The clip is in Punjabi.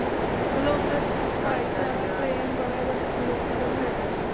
ਮਤਲਬ ਓਥੇ ਭਾਈਚਾਰਾ ਬੜਾ ਹੈਗਾ